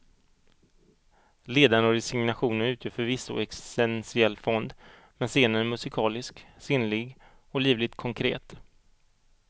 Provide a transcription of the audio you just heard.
Ledan och resignationen utgör förvisso existentiell fond men scenen är musikalisk, sinnlig och livligt konkret.